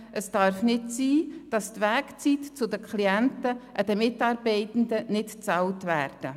Es darf nicht sein, dass die Anfahrtszeit zu den Klienten den Mitarbeitenden nicht bezahlt wird.